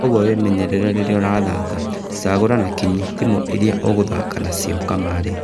Kwoguo wĩmenyerere rĩrĩa ũrathaka, cagũra na kinyi timu iria ũgũthaka nacio kamarĩ.